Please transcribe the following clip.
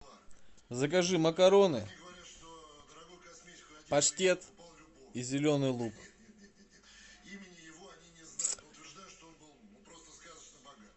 закажи макароны паштет и зеленый лук